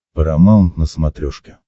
парамаунт на смотрешке